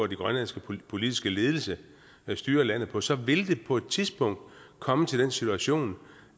den grønlandske politiske ledelse styrer landet på så vil det på et tidspunkt komme til den situation